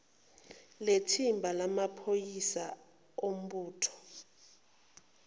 lethimba lamaphoyisa ombutho